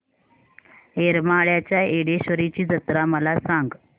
येरमाळ्याच्या येडेश्वरीची जत्रा मला सांग